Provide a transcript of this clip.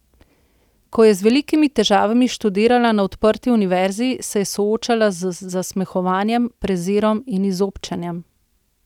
Ko je z velikimi težavami študirala na Odprti univerzi, se je soočala z zasmehovanjem, prezirom in izobčenjem.